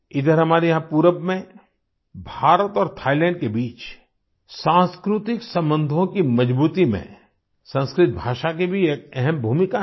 इधर हमारे यहाँ पूरब में भारत और थाइलैंड के बीच सांस्कृतिक संबंधों की मजबूती में संस्कृत भाषा की भी एक अहम भूमिका है